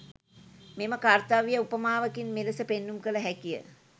මෙම කර්‍තව්‍යය උපමාවකින් මෙලෙස පෙන්නුම් කළ හැකිය.